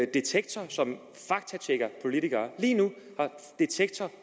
detektor som faktatjekker politikere